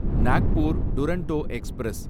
Nagpur Duronto express